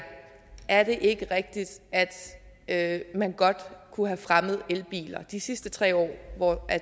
er det ikke rigtigt at man godt kunne have fremmet elbiler de sidste tre år hvor